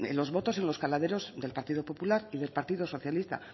los votos en los caladeros del partido popular y del partido socialista